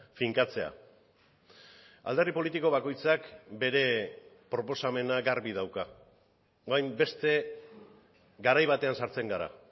finkatzea alderdi politiko bakoitzak bere proposamena garbi dauka orain beste garai batean sartzen gara